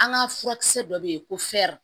An ka furakisɛ dɔ bɛ yen ko fɛri